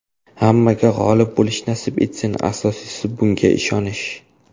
Hammaga g‘olib bo‘lish nasib etsin, asosiysi bunga ishonish”.